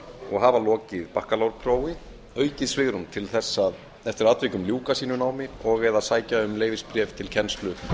og hafa lokið prófi aukið svigrúm til þess eftir atvikum að ljúka sínu námi og eða sækja um leyfisbréf til kennslu